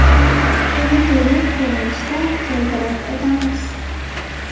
Uni to‘liq ko‘rinishda keltirib o‘tamiz.